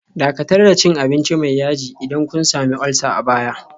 Dakatar da cin abinci mai yaji idan kun sami ulcer a baya